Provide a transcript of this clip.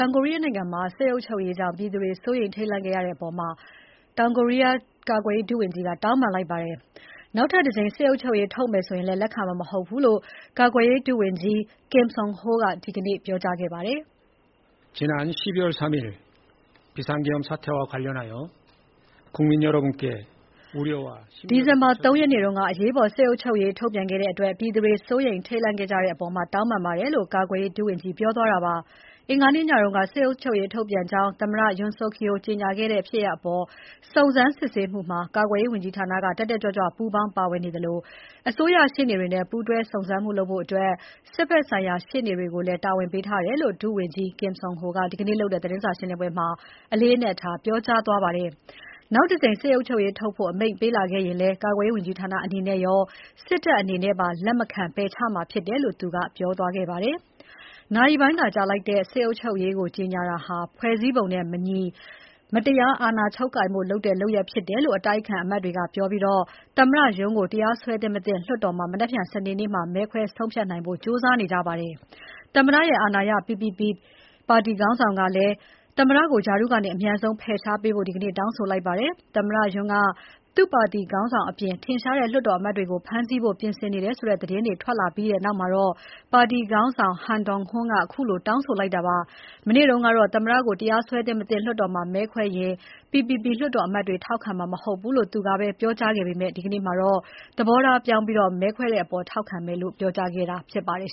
င်ကိုရီးယားနိုင်ငံမှာ စစ်အုပ်ချုပ်ရေးကြောင့် ပြည်သူတွေ စိုးရိမ်ခဲ့ရတဲ့အပေါ် ကာကွယ်ရေးဝန်ကြီးဌာနက တောင်းပန်လိုက်ပါတယ်။ နောက်ထပ်တကြိမ် စစ်အုပ်ချုပ်ရေးထုတ်မယ်ဆိုရင် လက်ခံမှာ မဟုတ်ဘူးလို့လည်း ယာယီ ကာကွယ်ရေးဝန်ကြီး Kim Seon Ho က ဒီနေ့ပြောကြားခဲ့ပါတယ်။ ဒီဇင်ဘာ ၃ ရက်နေ့က အရေးပေါ် စစ်အုပ်ချုပ်ရေးထုတ်ပြန်ခဲ့တဲ့အတွက် ပြည်သူတွေ စိုးရိမ်ထိတ်လန့် ခဲ့ကြတဲ့အပေါ်တောင်းပန်ပါတယ်လို့ ယာယီဝန်ကြီးက ပြောသွားတာပါ။ အင်္ဂါနေ့ညက စစ်အုပ်ချုပ်ရေးထုတ်ပြန်ကြောင်းသမ္မတ Yoon Suk Yeol ကြေညာခဲ့တဲ့ ဖြစ်ရပ်အပေါ် စုံစမ်းစစ်ဆေး မှုမှာ ကာကွယ်ရေးဝန်ကြီးဌာနက တက်တက်ကြွကြွပူးပေါင်း ပါဝင်နေသလို အစိုးရရှေ့နေတွေနဲ့ ပူးတွဲစုံစမ်းမှုလုပ်ဖို့ စစ်ဘက်ဆိုင်ရာ ရှေ့နေတွေကိုလည်း တာဝန်ပေးထားတယ်လို့ ယာယီ ဝန်ကြီး Kim Seon Ho က ဒီနေ့လုပ်တဲ့ သတင်းစာရှင်းပွဲမှာ အလေးအနက်ထား ပြောကြားသွားပါတယ်။ နောက်တကြိမ် စစ်အုပ်ချုပ်ရေးထုတ်ဖို့ အမိန့်ပေးလာခဲ့ရင်လည်း ကာကွယ်ရေးဝန်ကြီးဌာနအနေနဲ့ရော စစ်တပ်အနေနဲ့ပါ လက်မခံ ပယ်ချမှာဖြစ်တယ်လို့ သူက ပြောကြားသွားခဲ့ပါတယ်။ နာရီပိုင်းသာကြာလိုက်တဲ့ စစ်အုပ်ချုပ်ရေးကို ကြေညာတာဟာ ဖွဲ့စည်းပုံနဲ့ မညီ၊ မတရားသဖြင့် အာဏာချုပ်ကိုင်ဖို့လုပ်တဲ့ လုပ်ရပ်ဖြစ်တယ်လို့ အတိုက်အခံအမတ်တွေကပြောပြီး သမ္မတ Yoon ကိုတရားစွဲသင့်မသင့် လွှတ်တော်မှာ နက်ဖြန်စနေနေကျရင် မဲခွဲဆုံးဖြတ်နိုင်ဖို့ ကြိုးစားနေကြပါတယ်။ သမ္မတရဲ့ အာဏာရ PPP ပါတီခေါင်းဆောင်ကလည်း သမ္မတကို ရာထူးကနေ အမြန်ဆုံး ဖယ်ရှားပေးဖို့ ဒီနေ့ တောင်းဆိုလိုက်ပါတယ်။ သမ္မတ Yoon က သူ့ပါတီခေါင်းဆောင်အပြင် ထင်ရှားတဲ့လွှတ်တော်အမတ်တွေကို ဖမ်းဆီးဖို့ ပြင်ဆင်နေတဲ့ဆိုတဲ့သတင်းတွေထွက်လာပြီးနောက်မှာ ပါတီခေါင်းဆောင် Han Dong-hoon ကခုလို တောင်းဆိုလိုက်တာပါ။ မနေ့ကတော့သမ္မတကို တရားစွဲသင့် မသင့် လွှတ်တော်မှာ မဲခွဲရင် PPP လွှတ်တော်အမတ်တွေ ထောက်ခံမှာမဟုတ်ဘူးလို့ သူကပဲပြောကြားခဲ့ပေမဲ့ ဒီနေ့မှာတော့ သဘောထားပြောင်းပြီး မဲခွဲတဲ့အပေါ် ထောက်ခံမယ်လို့ ပြောကြားခဲ့တာြဖစ်ပါတယ်